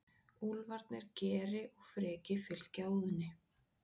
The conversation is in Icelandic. Úlfarnir Geri og Freki fylgja Óðni.